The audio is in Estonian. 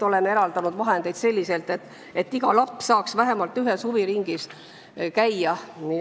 Oleme eraldanud vahendeid, et iga laps saaks tasuta vähemalt ühes huviringis käia.